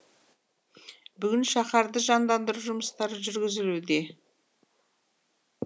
бүгін шаһарды жандандыру жұмыстары жүргізілуде